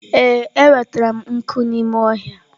Ee, enwetara m nkụ n'ime ọhịa.